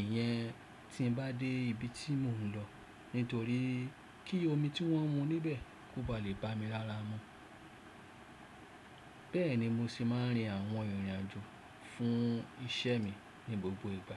Ìyẹn tí ń bá dé ibi tí mò ń lọ nítorí kí omi tí wọ́n ń mu níbẹ̀ kó ba lè bá mi lára mu. Bẹ́ẹ̀ ni mo sì máa ń rin àwọn ìrìn àjò fún iṣẹ́ mi ní gbogbo ìgbà.